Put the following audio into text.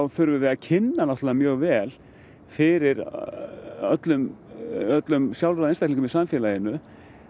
þurfum við að kynna náttúrulega mjög vel fyrir öllum öllum sjálfráða einstaklingum í samfélaginu